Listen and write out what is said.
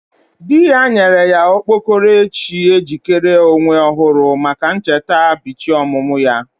Di ya nyere ya okpokoro echi ejikere Onwe ohuru maka ncheta ybichi omumu ya.